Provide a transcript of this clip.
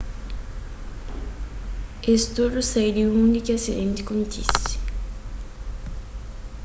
es tudu sai di undi ki asidenti kontise